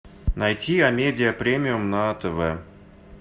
найти амедиа премиум на тв